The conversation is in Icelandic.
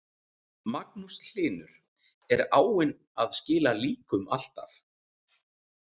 Magnús Hlynur: Er áin að skila líkum alltaf?